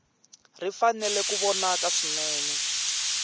ri fanele ku vonaka swinene